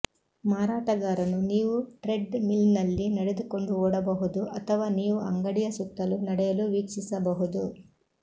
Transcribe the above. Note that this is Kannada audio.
ಮಾರಾಟಗಾರನು ನೀವು ಟ್ರೆಡ್ ಮಿಲ್ನಲ್ಲಿ ನಡೆದುಕೊಂಡು ಓಡಬಹುದು ಅಥವಾ ನೀವು ಅಂಗಡಿಯ ಸುತ್ತಲೂ ನಡೆಯಲು ವೀಕ್ಷಿಸಬಹುದು